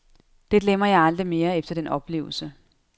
Det glemmer jeg aldrig mere efter den oplevelse.